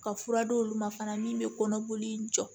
Ka fura d'olu ma fana min bɛ kɔnɔboli in jɔ